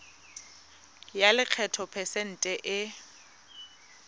ya lekgetho phesente e